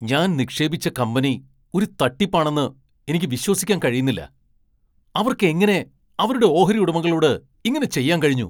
ഞാൻ നിക്ഷേപിച്ച കമ്പനി ഒരു തട്ടിപ്പാണെന്ന് എനിക്ക് വിശ്വസിക്കാൻ കഴിയുന്നില്ല. അവർക്ക് എങ്ങനെ അവരുടെ ഓഹരി ഉടമകളോട് ഇങ്ങനെ ചെയ്യാൻ കഴിഞ്ഞു ?